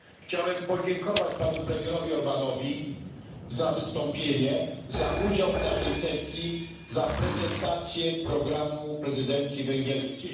Chciałem podziękować panu premierowi Orbánowi za wystąpienie, za udział w naszej sesji, za prezentację programu prezydencji węgierskiej.